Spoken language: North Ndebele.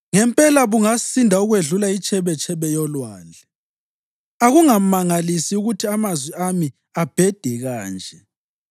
Ngempela bungasinda ukwedlula itshebetshebe yolwandle, akungamangalisi ukuthi amazwi ami abhede kanje.